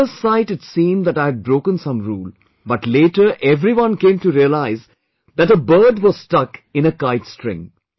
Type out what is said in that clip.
At first sight it seemed that I had broken some rule but later everyone came to realize that a bird was stuck in a kite string